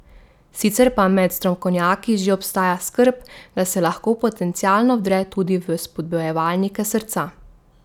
Sicer pa med strokovnjaki že obstaja skrb, da se lahko potencialno vdre tudi v spodbujevalnike srca.